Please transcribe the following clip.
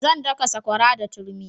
Zan daka sakwara da turmi